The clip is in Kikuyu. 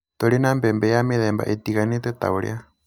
Tũrĩ na mbembe ya mĩthemba ĩtiganĩte ta ũrĩa